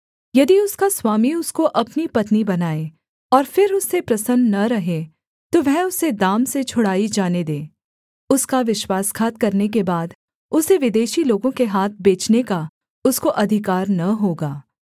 यदि उसका स्वामी उसको अपनी पत्नी बनाए और फिर उससे प्रसन्न न रहे तो वह उसे दाम से छुड़ाई जाने दे उसका विश्वासघात करने के बाद उसे विदेशी लोगों के हाथ बेचने का उसको अधिकार न होगा